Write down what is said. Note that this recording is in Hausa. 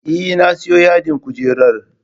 Eh na siyo yadin kujerar